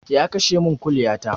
Ya kashe min kuliya ta